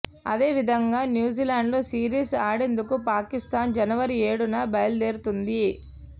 అదే విధంగా న్యూజిలాండ్లో సిరీస్ ఆడేందుకు పాకిస్తాన్ జనవరి ఏడున బయలుదేరుతుంది